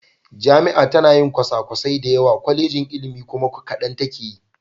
Jami'a tana yi kwasakwasai da yawa, Kwallejin ilimi kuma kadan take yi.